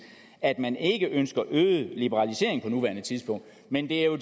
at man ikke ønsker øget liberalisering på nuværende tidspunkt men det er jo